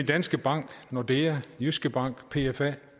danske bank nordea jyske bank pfa